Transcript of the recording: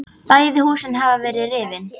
Bæði húsin hafa verið rifin.